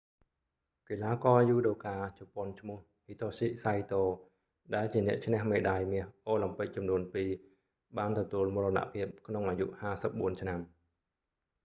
កីឡាករយូដូកាជប៉ុនឈ្មោះ hitoshi saito ដែលជាអ្នកឈ្នះមេដាយមាសអូឡាំពិកចំនួនពីរ បានទទួលមរណភាពក្នុងអាយុ 54 ឆ្នាំ